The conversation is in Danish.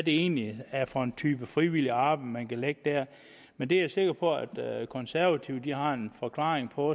egentlig for en type frivilligt arbejde man kan lægge der men det er jeg sikker på at de konservative har en forklaring på